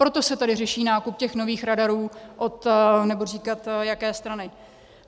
Proto se tady řeší nákup těch nových radarů od - nebudu říkat jaké strany.